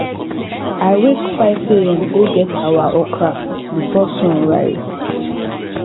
i wake 5am go wet our okra before sun rise